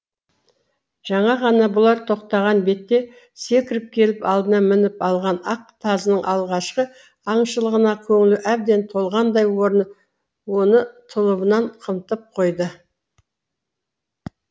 жаңа ғана бұлар тоқтаған бетте секіріп келіп алдына мініп алған ақ тазының алғашқы аңшылығына көңілі әбден толғандай оны тұлыбымен қымтап қойды